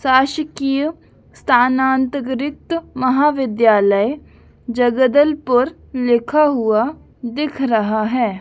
शासकीय स्थानांतग्रीत महाविद्यालय जगदलपुर लिखा हुआ दिख रहा है।